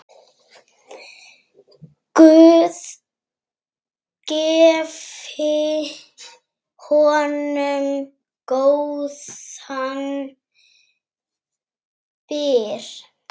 Guð gefi honum góðan byr.